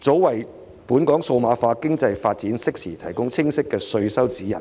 早為本港數碼化經濟發展，適時提供清晰的稅收指引。